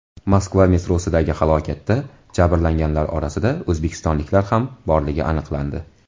Moskva metrosidagi halokatda jabrlanganlar orasida o‘zbekistonliklar ham borligi aniqlandi.